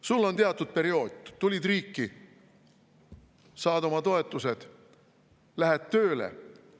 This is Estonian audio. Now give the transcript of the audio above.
Sul on teatud periood, tulid riiki, saad oma toetused, lähed tööle.